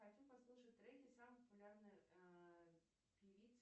хочу послушать треки самой популярной певицы